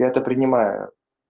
я это принимаю